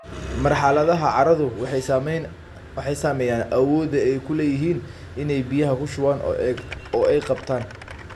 Marxaladaha carradu waxay saameeyaan awoodda ay u leeyihiin inay biyaha ku shubaan oo ay qabtaan.